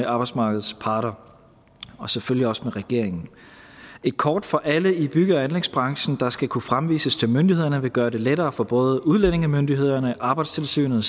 arbejdsmarkedets parter og selvfølgelig også med regeringen et kort for alle i bygge og anlægsbranchen der skal kunne fremvises til myndighederne vil gøre det lettere for både udlændingemyndighederne arbejdstilsynet